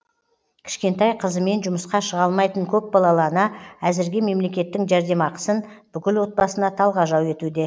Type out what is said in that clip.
кішкентай қызымен жұмысқа шыға алмайтын көпбалалы ана әзірге мемлекеттің жәрдемақысын бүкіл отбасына талғажау етуде